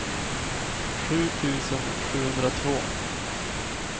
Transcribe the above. sju tusen sjuhundratvå